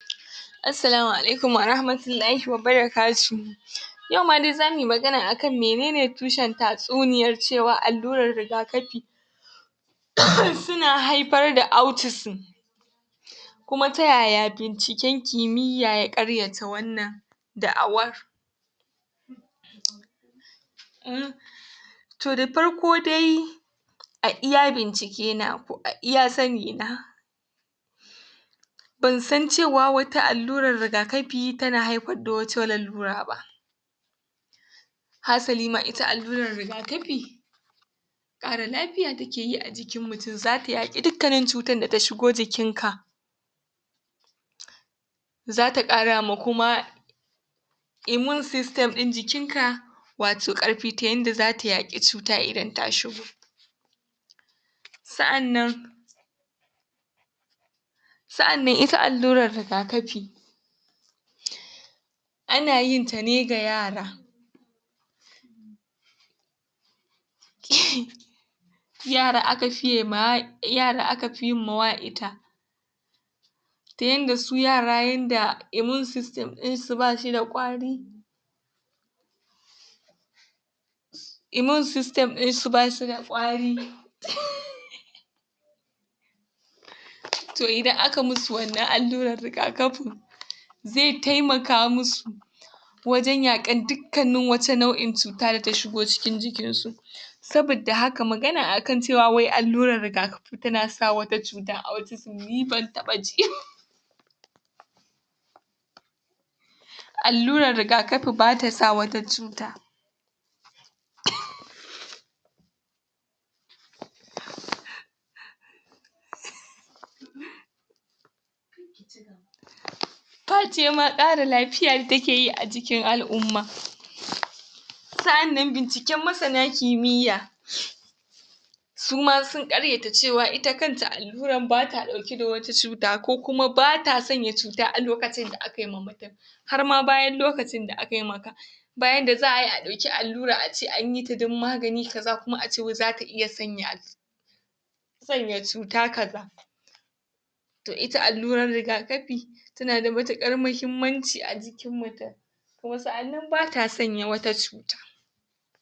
Assalamu alaikum warahmatullahi wabarakatuhu yau ma dai zamui magana akan mene ne tushen tatsuniyar cewa allurar rigakapi suna haipar da autisim kuma ta yaya binciken kimiyya ya ƙaryata wannan da'awar um. Toh, da farko dai a iya bincike na ko a iya sani na bansan cewa wata allurar rigakapi tana haipar da wata lalura ba, haasali ma ita allurar rigakapi ƙara lapiya take yi a jikin mutum, za ta yaƙi dukkanin cutan da ta shigo jikin ka za ta ƙara ma kuma immune sistem ɗin jikin ka wato ƙarpi, ta yanda zata yaƙi cuta idan ta shigo. Sa'annan sa'annan ita allurar rigakapi ana yinta ne ga yara [sneez] yara aka fiye mawa yara aka pi yin mawa ita, ta yanda su yara yanda immune system ɗin su bashi da ƙwari imun sistem ɗinsu bashi da ƙwari to idan aka musu wannan alluran rigakapin zai taimaka musu wajen yaƙan dukkanin waca nau'in cuta da ta shigo cikin jikinsu. Sabidda haka magana a kan cewa wai allurar rigakapi tana sa wata cutan autism ni ban taɓa ji ba. Allurar rigakapi bata sa wata cuta face ma ce ƙara lapiya take yi a cikin al'umma sa'annan binciken masana kimiyya su ma sun ƙaryata cewa ita kanta alluran bata ɗauke da wata cuta, ko kuma bata sanya cuta a lokacin da akai ma mutum, har ma bayan lokacin da akai maka. Ba yanda za ayi a ɗauki allura a ce anyi ta don magani kaza kuma ace wai zata iya sanya sanya cuta kaza. Toh, ita allurar rigakapi tana da matuƙar mahimmanci a jikin mutum, kuma sa'annan bata sanya wata cuta.